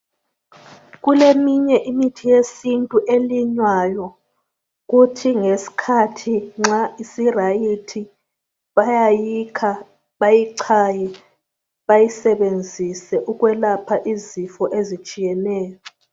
Kuleyinye imithi yesintu emilayo kuthi ngesikhathi nxa isi right bayayikha bayichaye bayisebenzise ukwelapha izifo ezitshiyeneyo